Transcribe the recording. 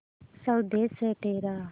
स्वदेस है तेरा